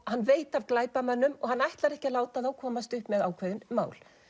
hann veit af glæpamönnum og ætlar ekki að láta þá komast upp með ákveðin mál